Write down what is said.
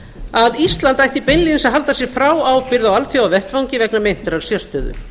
að ísland ætti beinlínis að alda sig frá ábyrgð á alþjóðavettvangi vegna meintrar sérstöðu